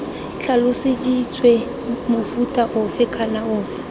tlhaloseditswe mofuta ofe kana ofe